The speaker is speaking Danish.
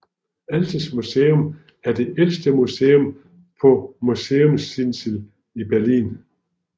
Altes Museum er det ældste museum på Museumsinsel i Berlin